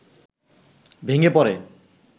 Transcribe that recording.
ভেঙে পড়ে